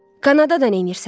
Kanadada neynirsən?